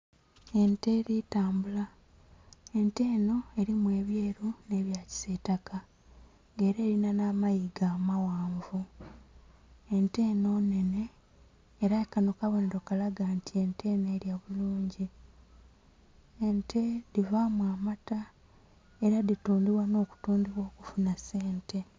Ente eli tambula. Ente enho elimu ebyeru nh'ebya kisiitaka nga ela elinha nh'amayiga amaghanvu. Ente enho nnhenhe ela kanho kabonhero kalaga nti ente enho elya bulungi. Ente dhivaamu amata ela dhitundhibwa nh'okutundhibwa okufunha sente.